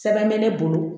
Sɛbɛn bɛ ne bolo